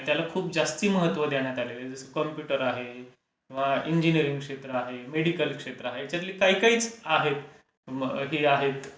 त्याला खूप जास्ती महत्त्व देण्यात आलेल आहे. जसे कम्प्युटर आहे किंवा इंजीनीरिंग क्षेत्र आहे. मेडिकल क्षेत्र आहे. त्याच्यातील काही काही आहेत,